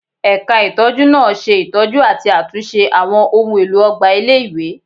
Ẹ̀ka ìtọ́jú náà ṣe ìtọ́jú àti àtúnṣe àwọn ohùn èlò ọgbà ilé-ìwé